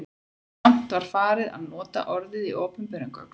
Samt var farið að nota orðið í opinberum gögnum.